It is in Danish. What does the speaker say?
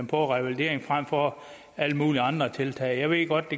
på revalidering frem for alle mulige andre tiltag jeg ved godt